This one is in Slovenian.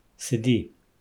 Sedi.